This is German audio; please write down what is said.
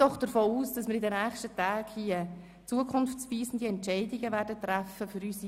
Ich gehe davon aus, dass wir in den nächsten Tagen zukunftsweisende Entscheidungen für unsere Einwohner treffen werden.